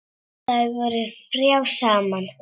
Þær voru þrjár saman.